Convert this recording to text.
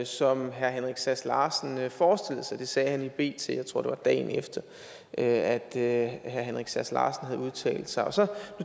som herre henrik sass larsen forestillede sig det sagde han i bt jeg tror det var dagen efter at at herre henrik sass larsen havde udtalt sig så